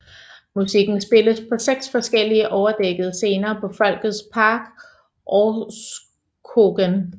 Musikken spilles på seks forskellige overdækkede scener på Folkets Park Orrskogen